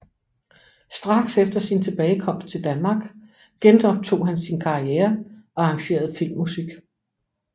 Straks efter sin tilbagekomst til Danmark genoptog han sin karriere og arrangerede filmmusik